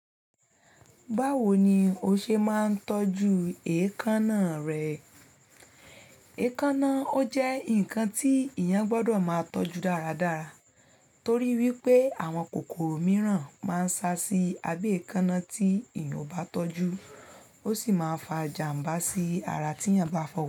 Báwo ni o ṣe máa ń tọ́jú èékánná rẹ? Èékánná ó jẹ́ nǹkan tí èèyàn gbọdọ̀ máa tọ́jú dáradára torí wípé àwọn kòkòrò mìíràn máa ń sá sí abẹ́ èékánná tí èèyàn ò bá tọ́jú, ó sì máa ń fa jàm̀bá sí ara tí èèyàn bá fọwọ́ sí.